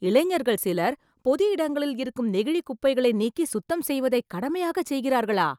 இளைஞர்கள் சிலர், பொது இடங்களில் இருக்கும் நெகிழிக் குப்பைகளை நீக்கி, சுத்தம் செய்வதை கடமையாகச் செய்கிறார்களா...